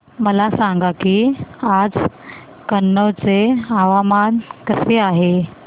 मला सांगा की आज कनौज चे हवामान कसे आहे